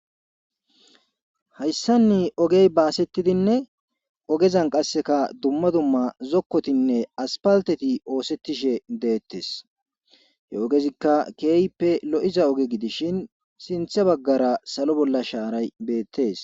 Hayssanni ogey baasettidinne ogezan qasseka dumma dumma zokkotinne aspalteti oosettishe deettes he ogezikka keeyppe lo'iza oge gidishin sinthe baggara salo bolla shaaray beettees.